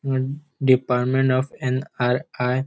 Department of NRI. --